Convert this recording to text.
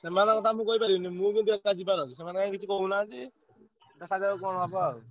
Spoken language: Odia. ସେମାନଙ୍କ କଥା ମୁଁ କହିପାରିବିନି ମୁଁ କିନ୍ତୁ ଏକା ଯିବାର ଅଛି, ସେମାନେ କାହିଁ କିଛି କହୁନାହାନ୍ତି। ଦେଖାଯାଉ କଣ ହବ ଆଉ?